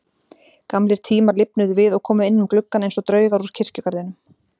Gamlir tímar lifnuðu við og komu inn um gluggann einsog draugar úr kirkjugarðinum.